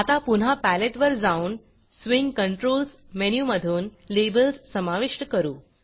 आता पुन्हा पॅलेटवर जाऊन स्विंग Controlsस्विंग कंट्रोल्स मेनूमधून लेबल्स समाविष्ट करू